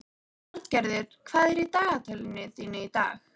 Arngerður, hvað er í dagatalinu í dag?